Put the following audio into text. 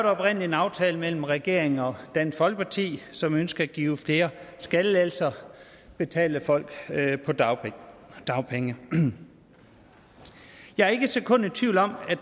oprindelig en aftale mellem regeringen og dansk folkeparti som ønsker at give flere skattelettelser betalt af folk på dagpenge dagpenge jeg er ikke et sekund i tvivl om at